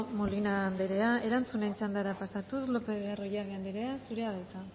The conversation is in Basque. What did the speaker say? molina andrea erantzunen txandara pasatuz lopez de arroyabe andrea zurea da hitza